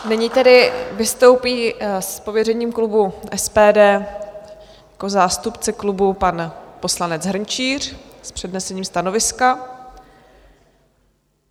Nyní tedy vystoupí s pověřením klubu SPD, jako zástupce klubu, pan poslanec Hrnčíř s přednesením stanoviska.